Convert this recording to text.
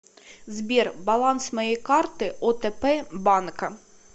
сбер баланс моей карты отп банка